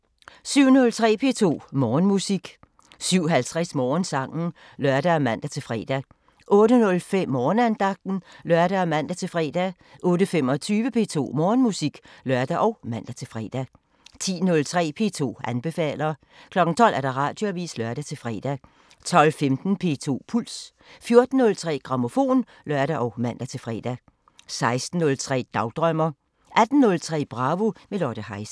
07:03: P2 Morgenmusik 07:50: Morgensangen (lør og man-fre) 08:05: Morgenandagten (lør og man-fre) 08:25: P2 Morgenmusik (lør og man-fre) 10:03: P2 anbefaler 12:00: Radioavisen (lør-fre) 12:15: P2 Puls 14:03: Grammofon (lør og man-fre) 16:03: Dagdrømmer 18:03: Bravo – med Lotte Heise